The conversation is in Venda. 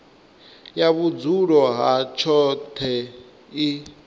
ya vhudzulo ha tshoṱhe i